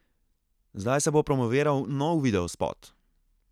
Zdaj se bo promoviral nov videospot.